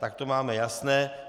Tak to máme jasné.